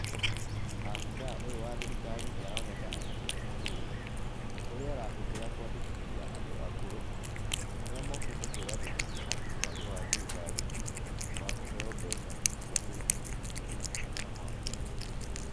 Abithaa ũyũ wa thirikari nĩ aroneka anyitĩte mũhũri, ũrĩa arahũthira kũandĩkithia andũ akũrũ, arĩa mokĩte kwĩandĩkithia harĩ mũbango wa thirikari, wa kũheo mbeca, cia kũnyitĩrĩra mabataro mao.